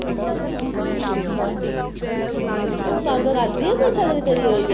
ਤੂੰ ਕੰਮ ਕਰਦੀ ਹੈ ਕੋਈ salary ਤੇਰੀ ਆਉਣੀ ਹੈ